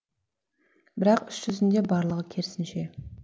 бірақ іс жүзінде барлығы керісінше